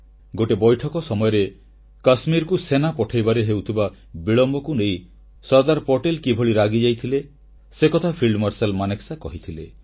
ଗୋଟିଏ ବୈଠକ ସମୟରେ କାଶ୍ମୀରକୁ ସେନା ପଠାଇବାରେ ହେଉଥିବା ବିଳମ୍ବକୁ ନେଇ ସର୍ଦ୍ଦାର ପଟେଲ କିଭଳି ରାଗିଯାଇଥିଲେ ସେକଥା ଫିଲ୍ଡ ମାର୍ଶାଲ ମାନେକ୍ସା କହିଥିଲେ